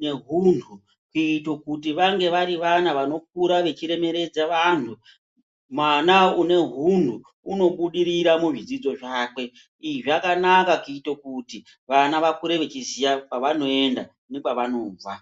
ne hunhu kuite kuti vange vari vana vanokura vechi remeredza vanhu mwana une hunhu uno budirira mu zvidzidzo zvake izvi zvakanaka kuite kuti vana vakure ve chiziya kwa vanoenda ne kwa vanobva.